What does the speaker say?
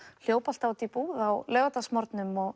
hljóp alltaf út í búð á laugardagsmorgnum